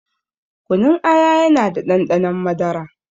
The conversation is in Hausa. Kunun aya yana da ɗanɗanon madara